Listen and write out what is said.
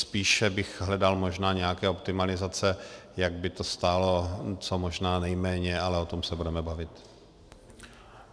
Spíše bych hledal možná nějaké optimalizace, jak by to stálo co možná nejméně, ale o tom se budeme bavit.